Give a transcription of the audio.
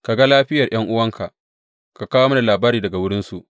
Ka ga lafiyar ’yan’uwanka, ka kawo mini labari daga wurinsu.